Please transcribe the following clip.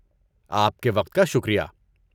آپ کے وقت کا شکریہ۔